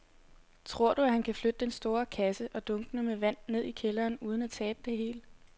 Tror du, at han kan flytte den store kasse og dunkene med vand ned i kælderen uden at tabe det hele?